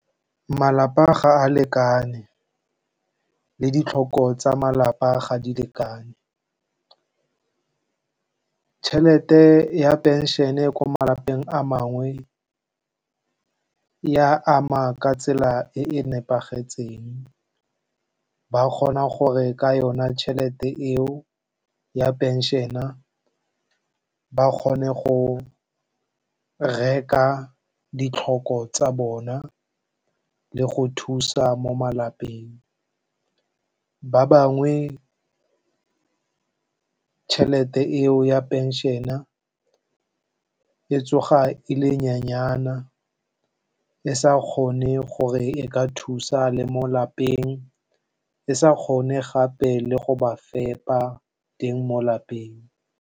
Malapa ga a lekane le ditlhoko tsa malapa ga di lekane. Tšhelete ya phenšhene ko malapeng a mangwe ya ama ka tsela e e nepagetseng. Ba kgona gore ka yona tšhelete eo ya phenšena ba kgone go reka ditlhoko tsa bona le go thusa mo malapeng. Ba bangwe tšhelete eo ya phenšena e tsoga e le nyenyana e sa kgone gore e ka thusa le mo lapeng, e sa kgone gape le go ba fepa teng mo lapeng.